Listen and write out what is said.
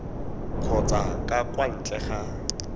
kgotsa ka kwa ntle ga